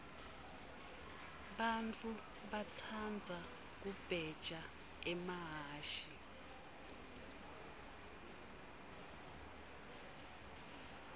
bantfu batsandza kubheja emahhashi